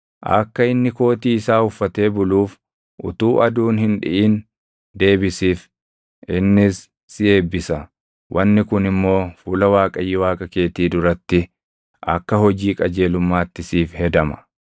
Akka inni kootii isaa uffatee buluuf utuu aduun hin dhiʼin deebisiif. Innis si eebbisa; wanni kun immoo fuula Waaqayyo Waaqa keetii duratti akka hojii qajeelummaatti siif hedama.